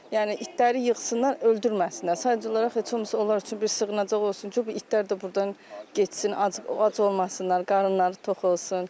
Yəni itləri yığsınlar, öldürməsinlər, sadəcə olaraq heç olmasa onlar üçün bir sığınacaq olsun ki, bu itlər də burdan getsin, ac olmasınlar, qarınları tox olsun.